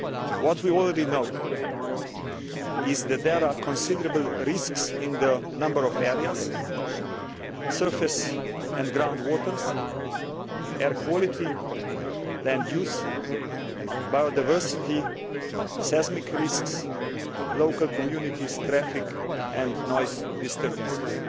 What we already know is that there are considerable risks in a number of areas surface and ground water, air quality, land use, biodiversity, seismic risks, local communities' traffic and noise disturbances.